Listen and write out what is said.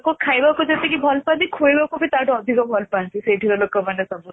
ଲୋକ ଖାଇବାକୁ ଯେତିକି ଭଲପାନ୍ତି ଖୁଏଇବାକୁ ବି ତାଠୁ ଅଧିକ ଭଲପାନ୍ତି ସେଇଠି ଲୋକମାନେ ସବୁ